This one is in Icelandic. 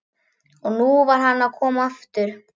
Og nú var hann að koma aftur!